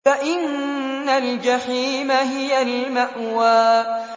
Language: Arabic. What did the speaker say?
فَإِنَّ الْجَحِيمَ هِيَ الْمَأْوَىٰ